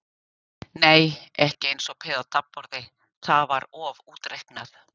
Nei, ekki eins og peð á taflborði, það var of útreiknað.